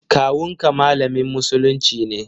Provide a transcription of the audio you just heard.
Kawun ka malamin musulunci ne?